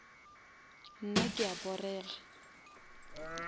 nna ke a porega